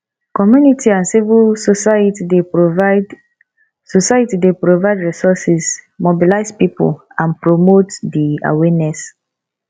community and civil society dey provide society dey provide resources mobilize people and promote di awareness